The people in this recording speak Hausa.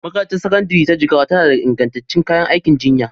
Makarantar Sakandare ta Jigawa tana da ingantattun kayan aikin jinya